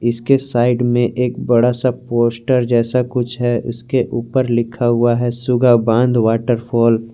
इसके साइड में एक बड़ा सा पोस्टर जैसा कुछ है उसके ऊपर लिखा हुआ है सुग्गा बांध वॉटरफॉल --